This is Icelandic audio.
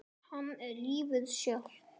Hann er lífið sjálft.